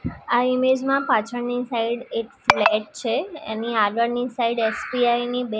આ ઈમેજ માં પાછળની સાઈડ એક ફ્લેટ છે એની આગળની સાઈડ એસ_બી_આઈ ની બે--